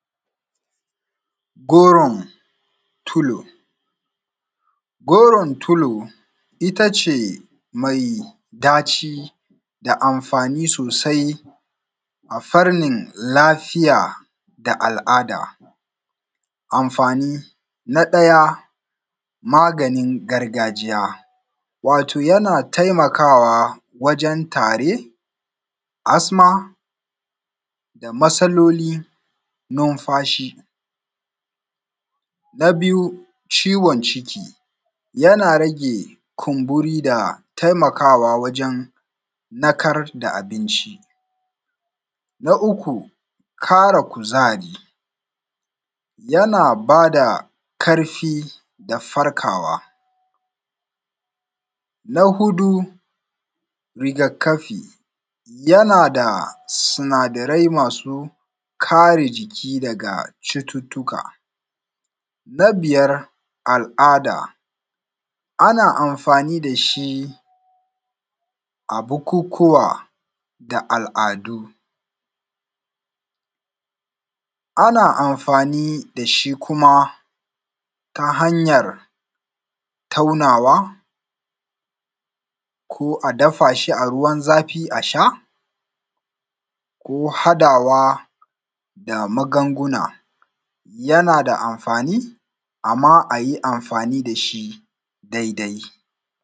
Goron tulo, goron tulo. Itace mai daci da amfani sosai. A farnin lafiya da al’ada. Ammfani. Na daya. Maganin gargajiya. Wato yana taimakawa wajen tari. asma da masaloli numfashi. Na biyu ciwon ciki. Yana rage kumburi da taimakawa wajen narkar da abinci. Na uku, kara kuzari. Yana bada karfi da farkawa. Na hudu rigakafi. Yana da sinadarai masu kare jiki daga chututtuka. Na biyar, al’ada. Ana amfani dashi abukukuwa. da al’adu. Ana amfani dashi kuma. Ta hanyar taunawa. Ko adafashi a ruwan zafi a sha. Ko kadawa da maganguna. Yanada amfani, Amma ayi amfani dashi daidai.